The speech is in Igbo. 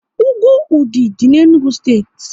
Úgwù Ụdị dị n'Enugu steeti